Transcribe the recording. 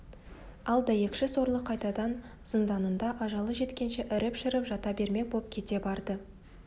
ал дәйекші сорлы қайтадан зынданында ажалы жеткенше іріп-шіріп жата бермек боп кете барды